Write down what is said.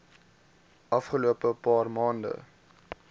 afgelope paar maande